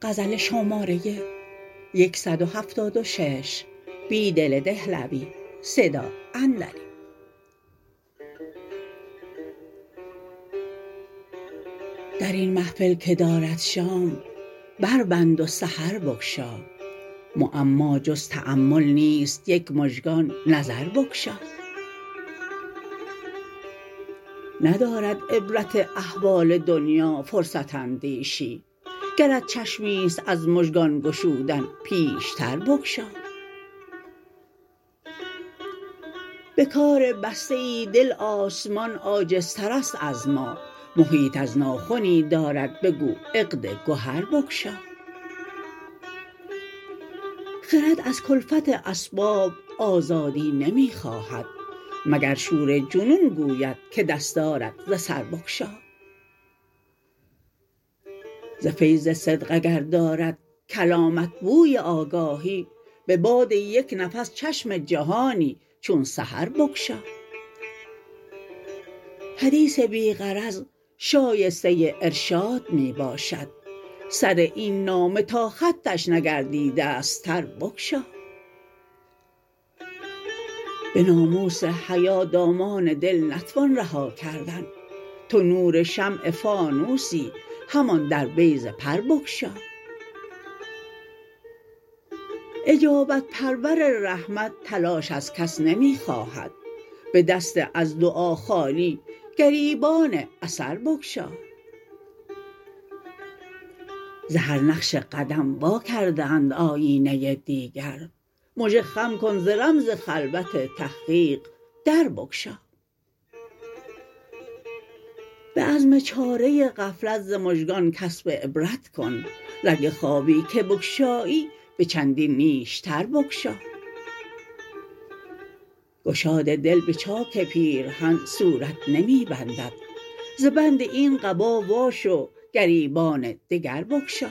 درین محفل که دارد شام بربند و سحر بگشا معما جز تأمل نیست یک مژگان نظر بگشا ندارد عبرت احوال دنیا فرصت اندیشی گرت چشمی ست از مژگان گشودن پیش تر بگشا به کار بسته ای دل آسمان عاجزتر است از ما محیط ار ناخنی دارد بگو عقد گهر بگشا خرد از کلفت اسباب آزادی نمی خواهد مگر شور جنون گوید که دستارت ز سر بگشا ز فیض صدق اگر دارد کلامت بوی آگاهی به باد یک نفس چشم جهانی چون سحر بگشا حدیث بی غرض شایسته ارشاد می باشد سر این نامه تا خطش نگردیده ست تر بگشا به ناموس حیا دامان دل نتوان رها کردن تو نور شمع فانوسی همان در بیضه پر بگشا اجابت پرور رحمت تلاش از کس نمی خواهد به دست از دعا خالی گریبان اثر بگشا ز هر نقش قدم واکرده اند آیینه دیگر مژه خم کن ز رمز خلوت تحقیق در بگشا به عزم چاره غفلت ز مژگان کسب عبرت کن رگ خوابی که بگشایی به چندین نیشتر بگشا گشاد دل به چاک پیرهن صورت نمی بندد ز بند این قبا واشو گریبان دگر بگشا